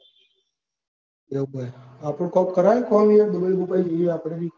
બરોબર હા તો કોક કરાયને dubai બુબઈ જઈએ આપડે.